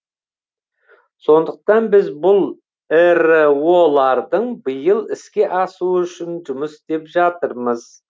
сондықтан біз бұл іро лардың биыл іске асуы үшін жұмыс істеп жатырмыз